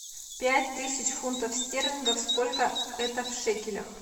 пять тысяч фунтов стерлингов сколько это в шекелях